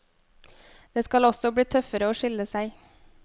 Det skal også bli tøffere å skille seg.